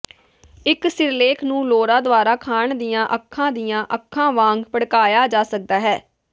ਇੱਕ ਸਿਰਲੇਖ ਨੂੰ ਲੋਰਾ ਦੁਆਰਾ ਖਾਣ ਦੀਆਂ ਅੱਖਾਂ ਦੀਆਂ ਅੱਖਾਂ ਵਾਂਗ ਭੜਕਾਇਆ ਜਾ ਸਕਦਾ ਹੈ